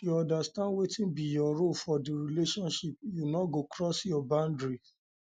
if you understand wetin be your role for di relationship you no go cross your boundary cross your boundary